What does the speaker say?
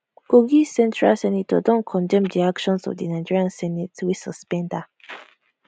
kogi central senator don condemn di action of di nigerian senate wey suspend her